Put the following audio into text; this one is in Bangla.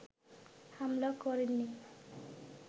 হামলা করেননি